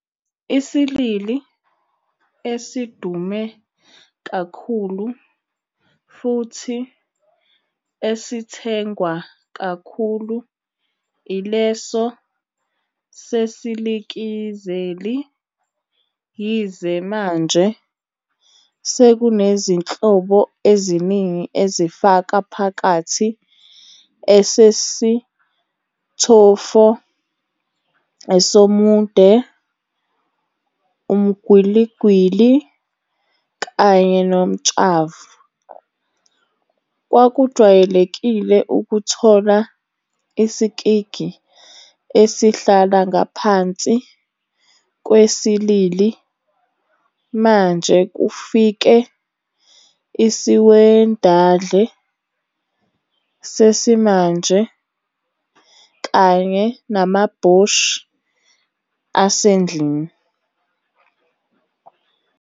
Isilili esidume kakhulu futhi esithengwa kakhulu ileso sesilikizeli, yize manje sekunezinhlobo eziningi ezifaka phakathi esesithofo, esomunde, umgwiligwili, kanye nomtshavu. Kwakujwayelekile ukuthola isikigi esihlala ngaphansi kwesilili mande kufike isiwedandle sesimanje kanye namabhoshi asendlini.